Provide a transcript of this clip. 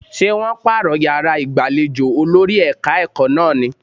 Ṣé wọ́n pààrọ̀ yàrá ìgbàlejò olórí ẹ̀ka-ẹ̀kọ́ náà ní?